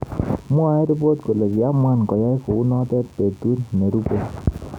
Mwaei ripot kole kimwan koyai kounot petut nerupei